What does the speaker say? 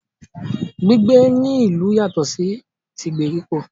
Gbígbé ní ìlú yatọ̀ sí tí ìgbèríko.